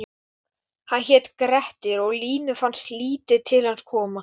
Ekki fyrr en eftir að þau fóru, Alla og Sjóni.